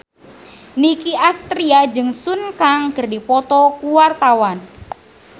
Nicky Astria jeung Sun Kang keur dipoto ku wartawan